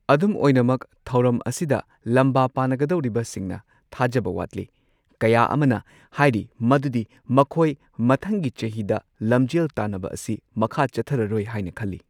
ꯑꯗꯨꯝ ꯑꯣꯏꯅꯃꯛ ꯊꯧꯔꯝ ꯑꯁꯤꯗ ꯂꯝꯕꯥ ꯄꯥꯟꯅꯒꯗꯧꯔꯤꯕꯁꯤꯡꯅ , ꯊꯥꯖꯕ ꯋꯥꯠꯂꯤ, ꯀꯌꯥ ꯑꯃꯅ ꯍꯥꯏꯔꯤ ꯃꯗꯨꯗꯤ ꯃꯈꯣꯏ ꯃꯊꯪꯒꯤ ꯆꯍꯤꯗ ꯂꯝꯖꯦꯜ ꯇꯥꯟꯅꯕ ꯑꯁꯤ ꯃꯈꯥ ꯆꯠꯊꯔꯔꯣꯏ ꯍꯥꯏꯅ ꯈꯜꯂꯤ꯫